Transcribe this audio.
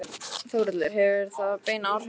Þórhallur: Hefur það bein áhrif á eldið?